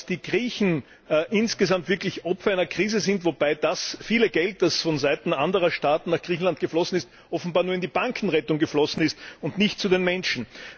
Die Griechen sind insgesamt wirklich Opfer einer Krise, wobei das viele Geld, das von Seiten anderer Staaten nach Griechenland geflossen ist, offenbar nur in die Bankenrettung geflossen ist und nicht zu den Menschen.